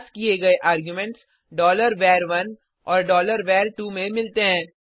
पास किये गए arguments var1 और var2 में मिलते हैं